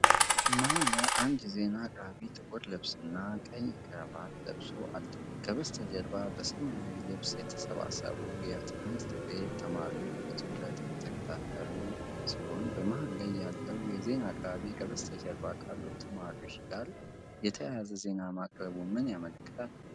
መሃል ላይ አንድ የዜና አቅራቢ ጥቁር ልብስና ቀይ ክራቫት ለብሶአለ፣ ከበስተጀርባ በሰማያዊ ልብስ የተሰባሰቡ የትምህርት ቤት ተማሪዎች በትኩረት እየተከተሉ ፡፡በመሃል ላይ ያለው የዜና አቅራቢ ከበስተጀርባ ካሉት ተማሪዎች ጋር የተያያዘ ዜና ማቅረቡ ምን ያመለክታል?